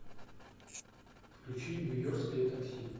включи нью йоркское такси